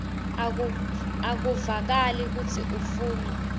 akuvakali kutsi ufuna